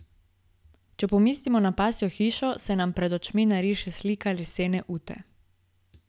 Če pomislimo na pasjo hišo, se nam pred očmi nariše slika lesene ute.